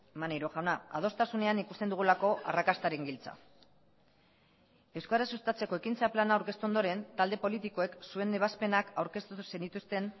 maneiro jauna adostasunean ikusten dugulako arrakastaren giltza euskara sustatzeko ekintza plana aurkeztu ondoren talde politikoek zuen ebazpenak aurkeztu zenituzten